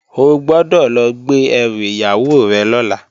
O gbọ́dọ̀ lọ gbé ẹrù ìyàwó rẹ̀ lọ́la!